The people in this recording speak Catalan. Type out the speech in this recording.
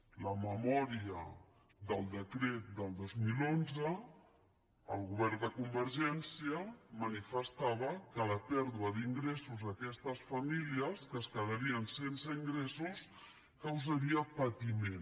a la memòria del decret del dos mil onze el govern de convergència manifestava que la pèrdua d’ingressos a aquestes famílies que es quedarien sense ingressos causaria patiment